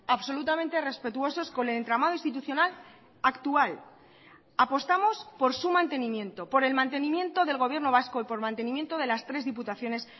absolutamente respetuosos con el entramado institucional actual apostamos por su mantenimiento por el mantenimiento del gobierno vasco y por el mantenimiento de las tres diputaciones